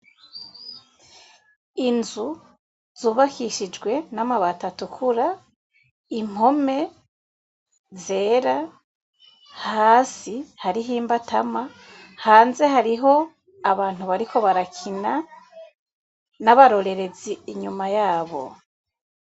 Inzu zubakishijwe n'amabati atukura impome zera hasi hariho imbatama hanze hariho abantu bariko barakina nabarorerezi inyuma yabo.